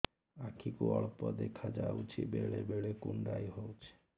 ଆଖି କୁ ଅଳ୍ପ ଦେଖା ଯାଉଛି ବେଳେ ବେଳେ କୁଣ୍ଡାଇ ହଉଛି